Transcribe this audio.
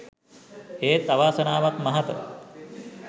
ඒත් අවාසනාවක් මහත